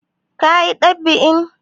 Kun yi ɗab'in?